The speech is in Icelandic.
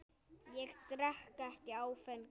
Ég drekk ekki áfengi.